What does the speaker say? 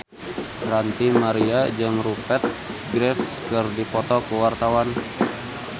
Ranty Maria jeung Rupert Graves keur dipoto ku wartawan